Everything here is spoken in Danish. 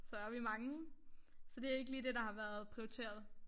Så vi mange. Så det ikke lige det der har været prioriteret